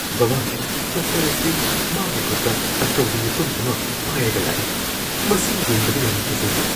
ꯕꯥꯕꯥ, doctor ꯑꯁꯤ ꯃꯥꯒꯤ ꯈꯨꯠꯇ ꯑꯆꯧꯕ ꯌꯦꯇꯨꯝ ꯑꯃ ꯄꯥꯢꯔꯒ ꯂꯥꯛꯑꯦ꯫ ꯃꯁꯤ ꯌꯦꯡꯕꯗ ꯌꯥꯝꯅ ꯀꯤꯖꯩꯌꯦ꯫